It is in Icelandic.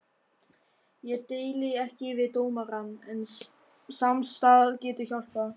Ég deili ekki við dómarann, en samstarf getur hjálpað.